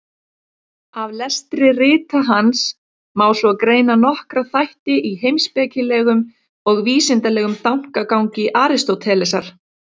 Af lestri rita hans má svo greina nokkra þætti í heimspekilegum og vísindalegum þankagangi Aristótelesar.